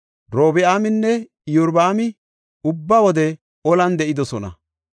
Robi7aaminne Iyorbaami ubba wode olan de7idosona.